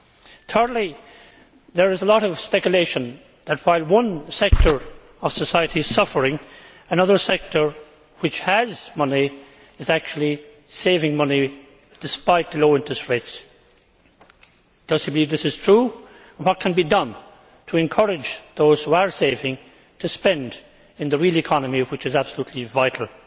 Thirdly, there is a lot of speculation that, while one sector of society is suffering, another sector which has money is actually saving money despite the low interest rates. Does he believe that this is true, and what can be done to encourage those who are saving to spend in the real economy, which is absolutely vital?